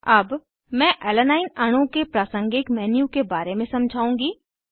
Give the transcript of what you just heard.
अब मैं alanine alanine अणु के प्रासंगिक मेन्यू के बारे में समझाउँगी